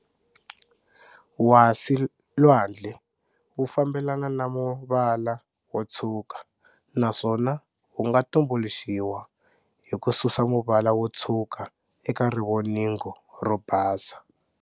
Wasi-lwandle wu fambelana na muvala wo tshwuka, naswona wu nga tumbuluxiwa hi ku susa muvala wo tshwuka eka rivoningo ro basa.